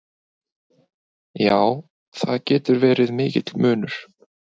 Já, það getur verið mikill munur.